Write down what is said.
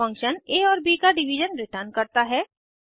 function आ और ब का डिवीज़न रिटर्न करता है